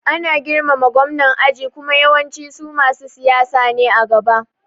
Ana girmama Gwamnan aji kuma yawancin su masu siyasa ne a gaba